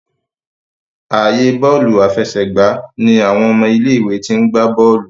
ààyè Bọ́ọ̀lù àfẹsẹ̀gbá ní àwọn ọmọ ilé ìwé t'in gbà bóòlù.